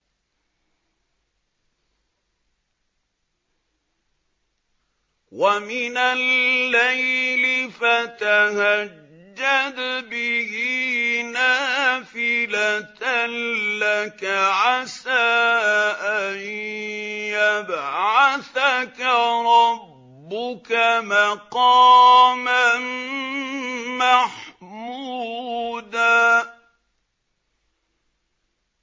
وَمِنَ اللَّيْلِ فَتَهَجَّدْ بِهِ نَافِلَةً لَّكَ عَسَىٰ أَن يَبْعَثَكَ رَبُّكَ مَقَامًا مَّحْمُودًا